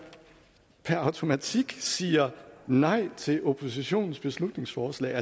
per automatik siger nej til oppositionens beslutningsforslag